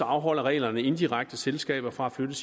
afholder reglerne indirekte selskaber fra at flytte